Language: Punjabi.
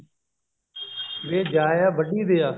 ਵੇ ਜਾਇਆ ਵੱਢੀ ਦਿਆ